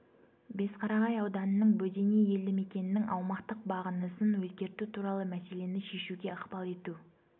бесқарағай ауданының бөдене елді мекенінің аумақтық бағынысын өзгерту туралы мәселені шешуге ықпал ету